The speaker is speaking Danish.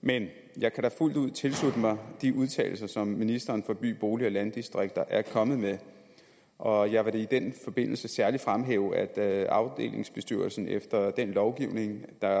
men jeg kan da fuldt ud tilslutte mig de udtalelser som ministeren for by bolig og landdistrikter er kommet med og jeg vil da i den forbindelse særligt fremhæve at afdelingsbestyrelsen efter den lovgivning der